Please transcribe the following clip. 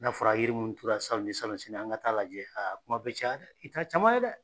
N'a fɔra yiri munnu turula salon ni salonnasini an ka taa lajɛ, a kuma be caya dɛ, i t'a caman ye dɛ!